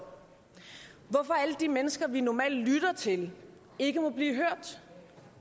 hvorfor må alle de mennesker vi normalt lytter til ikke blive hørt